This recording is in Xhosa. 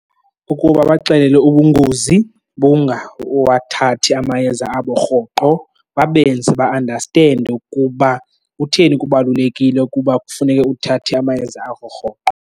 Ukuba abaxelele ubungozi bokungawathathi amayeza abo rhoqo, babenze ba-andastende ukuba kutheni kubalulekile ukuba kufuneke uthathe amayeza akho rhoqo.